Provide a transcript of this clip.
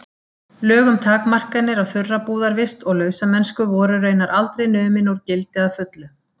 Lög um takmarkanir á þurrabúðarvist og lausamennsku voru raunar aldrei numin úr gildi að fullu.